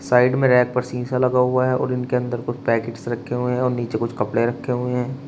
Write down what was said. Side में rack पर शीशा लगा हुआ है और इनके अंदर कुछ पैकेट्स रखे हुए हैं और नीचे कुछ कपड़े रखे हुए हैं।